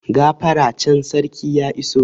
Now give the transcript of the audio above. Gafara can, sarki ya iso!